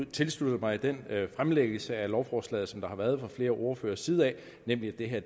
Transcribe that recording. tilslutte mig den fremlæggelse af lovforslaget som der har været fra flere ordføreres side nemlig at det her